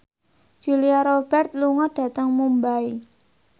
Julia Robert lunga dhateng Mumbai